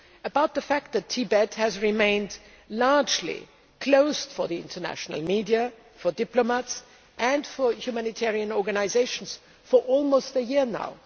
about the fact that Tibet has remained largely closed for the international media, for diplomats and for humanitarian organisations for almost a year now